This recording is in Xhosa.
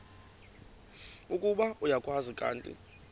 ukuba uyakwazi kanti